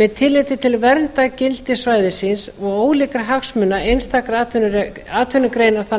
með tilliti til verndargildis svæðisins og ólíkra hagsmuna einstakra atvinnugreina þar